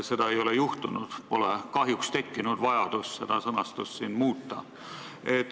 Seda ei ole juhtunud ja pole kahjuks tekkinud vajadust seda sõnastust muuta.